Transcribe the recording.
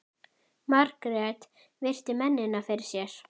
Margrét virti mennina fyrir sér.